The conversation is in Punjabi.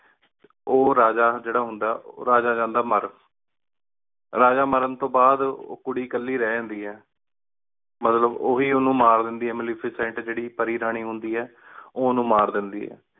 ਉਹ ਜੀਰਾ ਜੇੜਾ ਹੁੰਦਾ ਆਯ ਰਾਜਾ ਜਾਂਦਾ ਮਰ ਰਾਜਾ ਮਰਨ ਤੋਂ ਬਾਦ ਉਹ ਕੁੜੀ ਕੱਲੀ ਰਹ ਜਾਂਦੀ ਆਯ ਮਤਲਬ ਉਹੀ ਉਨੂ ਮਾਰ ਦੰਦੀ ਆਯ ਮੇਲਿਫਿਸੇੰਟ ਜੇੜੀ ਪਰੀ ਰਾਨੀ ਹੁੰਦੀ ਆਯ ਉਹ ਉਨੂ ਮਰਾ ਦੇਂਦੀ ਆਯ